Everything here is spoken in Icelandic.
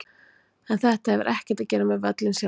En þetta hefur ekkert að gera með völlinn sjálfan.